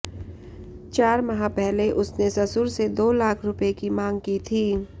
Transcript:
चार माह पहले उसने ससुर से दो लाख रुपये की मांग की थी